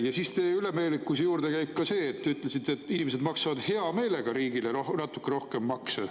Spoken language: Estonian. Ja teie ülemeelikuse juurde käib ka see, et te ütlesite, et inimesed maksavad hea meelega riigile natuke rohkem makse.